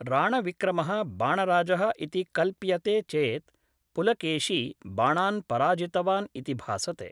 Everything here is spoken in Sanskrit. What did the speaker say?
राणविक्रमः बाणराजः इति कल्प्यते चेत्, पुलकेशी बाणान् पराजितवान् इति भासते।